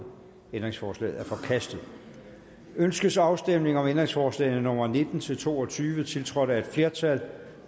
ændringsforslaget er forkastet ønskes afstemning om ændringsforslag nummer nitten til to og tyve tiltrådt af et flertal